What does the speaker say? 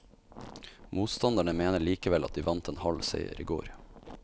Motstanderne mener likevel at de vant en halv seier i går.